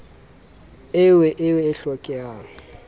eo o e hlokang e